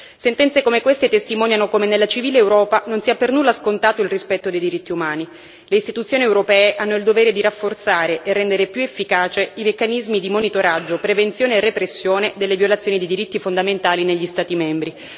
Sentenze come queste testimoniano come nella civile Europa non sia per nulla scontato il rispetto dei diritti umani, le istituzioni europee hanno il dovere di rafforzare e rendere più efficace i meccanismi di monitoraggio, prevenzione e repressione delle violazioni dei diritti fondamentali negli Stati membri.